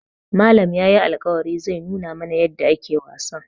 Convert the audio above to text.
Malam yayi alƙawarin zai nuna mana yadda ake wasan.